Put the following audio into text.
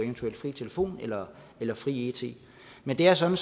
fri telefon eller eller fri it men det er sådan